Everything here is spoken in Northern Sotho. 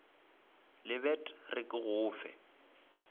lebet re ke go fe